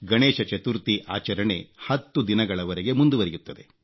ಗಣೇಶ ಚತುರ್ಥಿ ಆಚರಣೆ 10 ದಿನಗಳವರೆಗೆ ಮುಂದುವರಿಯುತ್ತದೆ